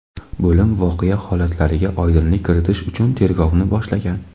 Bo‘lim voqea holatlariga oydinlik kiritish uchun tergovni boshlagan.